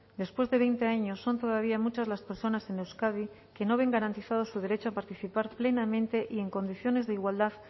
después de veinte años son todavía muchas las personas en euskadi que no ven garantizado su derecho a participar plenamente y en condiciones de igualdad